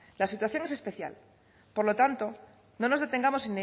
la situación especial por lo tanto no nos detengamos